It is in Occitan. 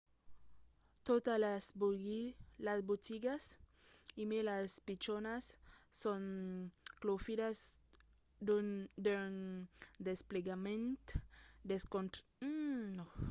totas las botigas e mai las pichonas son claufidas d'un desplegament desconcertant de cartas telefonicas prepagadas que pòdon èsser utilizadas dempuèi de telefòns de pagament o de telefòns ordinaris